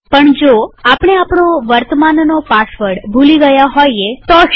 પણ જો આપણે આપણો વર્તમાનનો પાસવર્ડ ભૂલી ગયા હોઈએ તો શું